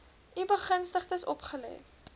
u begunstigdes opgelê